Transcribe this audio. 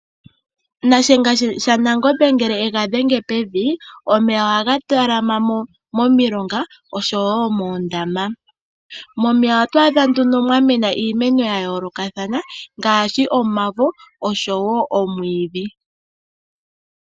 Shiyenga shaNangombe ngele egadhenge pevi omeya ohaga talama momilonga oshowo moondama. Momeya otwaadha nduno mwamena iimeno yomaludhi ogendji ngaashi omavo oshowo omwiidhi.